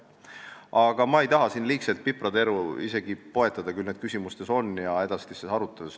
Aga ma ei taha siin liigselt piprateri poetada, need on olnud küsimustes ja tulevad edasistes aruteludes.